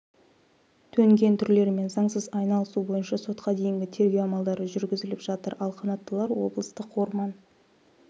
төнген түрлерімен заңсыз айналысу бойынша сотқа дейінгі тергеу амалдары жүргізіліп жатыр ал қанаттылар облыстық орман